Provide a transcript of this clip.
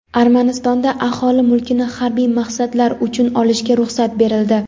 Armanistonda aholi mulkini harbiy maqsadlar uchun olishga ruxsat berildi.